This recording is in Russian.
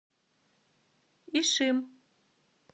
ишим